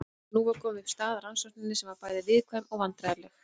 En nú var komin upp staða í rannsókninni sem var bæði viðkvæm og vandræðaleg.